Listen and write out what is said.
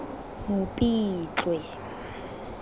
mopitlwe